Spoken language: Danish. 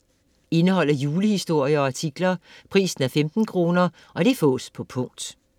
Indeholder julehistorier og artikler. Pris 15 kr. Fås på punkt